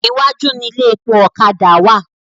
Iwájú ni ilé epo ọ̀kadà wà.